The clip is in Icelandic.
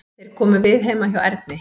Þeir komu við heima hjá Erni.